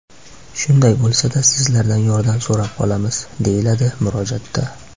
Shunday bo‘lsa-da, sizlardan yordam so‘rab qolamiz”, deyiladi murojaatda.